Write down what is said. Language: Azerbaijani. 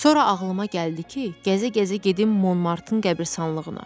Sonra ağlıma gəldi ki, gəzə-gəzə gedim Monmartın qəbristanlığına.